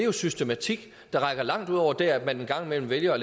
en systematik der rækker langt ud over det at man en gang imellem vælger at